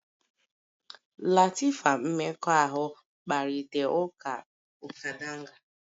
Latifa mmekọahụ kparịta ụka kadanga